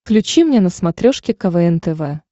включи мне на смотрешке квн тв